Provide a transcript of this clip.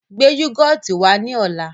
Gbé yúgọ́ọ́tì wá ní ọ̀la!